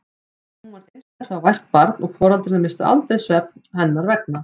Hún var einstaklega vært barn og foreldrarnir misstu aldrei svefn hennar vegna.